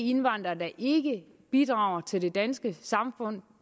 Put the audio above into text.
indvandrere der ikke bidrager til det danske samfund